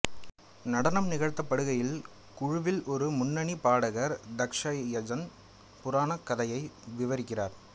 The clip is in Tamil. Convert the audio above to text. நடனம் நிகழ்த்தப்படுகையில் குழுவில் ஒரு முன்னணி பாடகர் தக்ஷ யஜ்ன புராணக் கதையை விவரிக்கிறார்